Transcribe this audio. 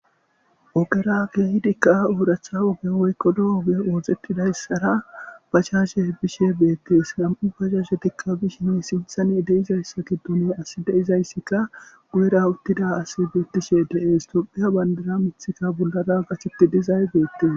Ogerake hidikka ooracha oge woykkodo oge ooxetidayssara bachashe hebishe beettees nam7u pashashetikka bishin sinthani deizayssa giddono asi deizayssikka guyera uttida as beettishe deees tophiya bandara mithikka bollara gachetti dizay beettees.